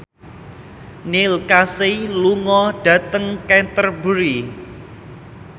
Neil Casey lunga dhateng Canterbury